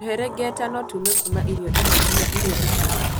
Tũherengeta no tuume kuma irio imwe ginya iria ingĩ.